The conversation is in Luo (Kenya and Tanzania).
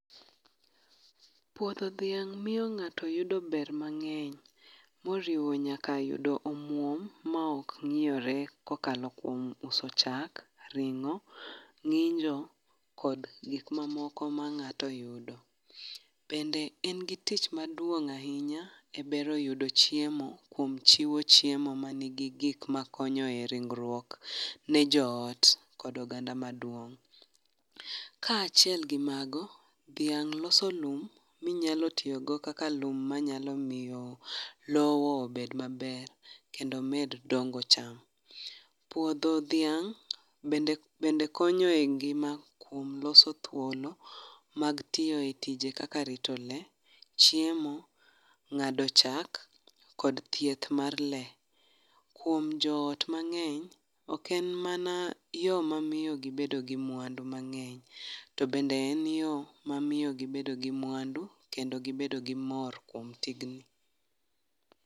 Puodho dhiang' miyo ng'ato yudo ber mang'eny moriwo nyaka yudo omuom ma ok nyiewore kokalo kom uso chak, ring'o , ng'injo kod gik mamoko ma ng'ato yudo. Bende en gi tich maduong' ahinya e bero yudo chiemo kuom chiwo chiemo mani gi gik makonyo re ingruok ne joot kod oganda maduong'. Kaachiel gi mago, dhiang' loso lum ma inyalo tiyo go kaka lum ma lowo obed maber kendo omed dongo cham. Puodho dhiang' bende konyo e ngima kuom loso thuolo mag tiyo e tije kaka rito lee, chiemo ng'ado chak kod thieth mar lee. Kuom joot mang'eny, ok en mana yo mamiyo gibedo gi mwandu mang'eny to bende en yo mamiiyo gibedo gi mwandu to gibedo gi mor kuom tijni.